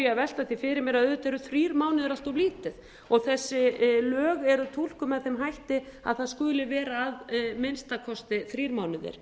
að velta því fyrir mér að auðvitað eru þrír mánuðir allt lítið þessi lög eru túlkuð með þeim hætti að það skuli vera að minnsta kosti þrír mánuðir